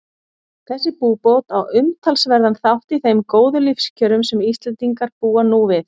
Þessi búbót á umtalsverðan þátt í þeim góðu lífskjörum sem Íslendingar búa nú við.